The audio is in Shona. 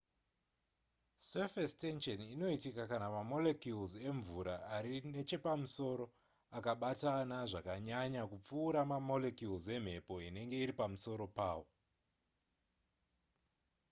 surface tension inoitika kana mamolecules emvura ari nechepamusoro akabatana zvakanyanya kupfuura mamolecules emhepo inenge iri pamusoro pawo